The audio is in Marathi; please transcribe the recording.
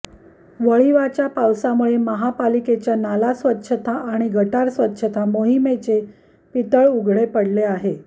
वळिवाच्या पावसामुळे महापालिकेच्या नाला स्वच्छता आणि गटार स्वच्छता मोहिमेचे पितळ उघडे पडले आहे